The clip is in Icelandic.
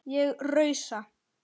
Ég rausa.